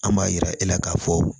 An b'a yira e la k'a fɔ